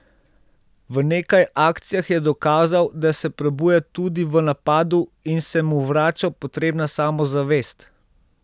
V nekaj akcijah je dokazal, da se prebuja tudi v napadu in se mu vrača potrebna samozavest.